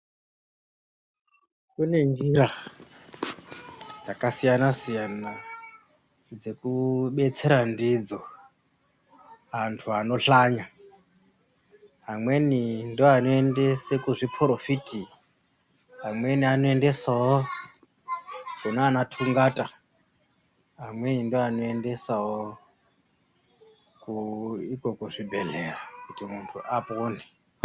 Kune njira dzakasiyana siyana dzekudetsera ndidzo vantu vanohlanya amweni ndiwo anoendesa kuzviporofiti amweni anoendesawo kunana tungata vamweni ndivo vanoendesawo iko kuzvibhehleya kuti muntu apone.